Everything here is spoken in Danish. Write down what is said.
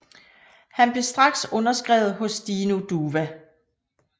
Han blev straks underskrevet hos Dino Duva